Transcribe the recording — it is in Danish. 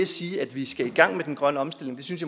sige at vi skal i gang med den grønne omstilling synes